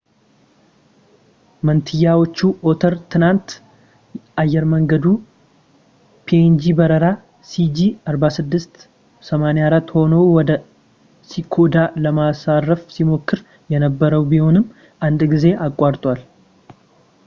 መንትዮቹ ኦተር ትናንት አየር መንገዱ ፒኤንጂ በረራ ሲጂ4684 ሆኖ ወደ ኪኮዳ ለማረፍ ሲሞክር የነበረ ቢሆንም አንድ ጊዜ አቋርጧል